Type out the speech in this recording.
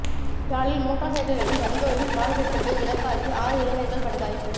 யாழில் மோட்டார் சைக்கிள்களில் வந்தோரின் வாள்வெட்டுக்கு இலக்காகி ஆறு இளைஞர்கள் படுகாயம்